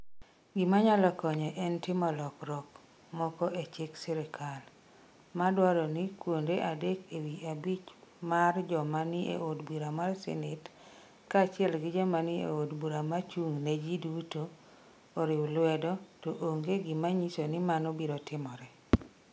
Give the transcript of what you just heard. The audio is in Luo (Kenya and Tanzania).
Gima nyalo konyo en timo lokruok moko e chik sirkal, ma dwaro ni kuonde adek e wi abich mar joma nie od bura mar Senate kaachiel gi joma nie od bura mar jochung ' ne ji duto, oriw lwedo, to onge gima nyiso ni mano biro timore.